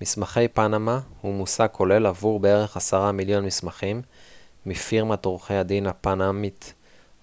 מסמכי פנמה הוא מושג כולל עבור בערך עשרה מיליון מסמכים מפירמת עורכי הדין הפנמית